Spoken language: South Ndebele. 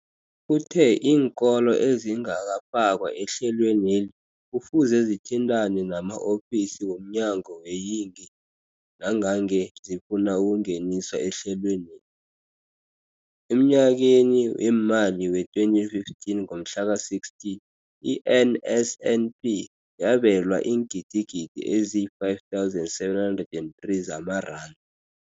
Uthe iinkolo ezingakafakwa ehlelweneli kufuze zithintane nama-ofisi womnyango weeyingi nangange zifuna ukungeniswa ehlelweni. Emnyakeni weemali wee-2015 ngomhla ka-16, i-NSNP yabelwa iingidigidi ezi-5 703 zamaranda.